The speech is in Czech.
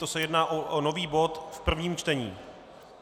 To se jedná o nový bod v prvním čtení.